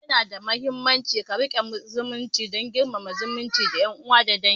Yana muhimmanci ka riƙe mutunci da girmama zumunci da yan uwa na dangi